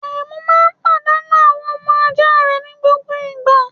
Arẹ́mu máa ń padànu àwọn ọmọ ajá rẹ ní gbogbo ìgbà.